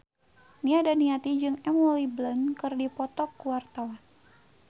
Nia Daniati jeung Emily Blunt keur dipoto ku wartawan